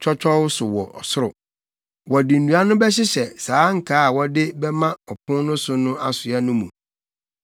twɔtwɔw so wɔ soro. Wɔde nnua no bɛhyehyɛ saa nkaa a wɔde bɛma ɔpon no so asoa no mu.